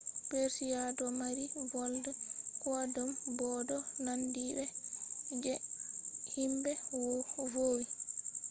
persia do mari volde koidum bo do nandi be je himbe vowi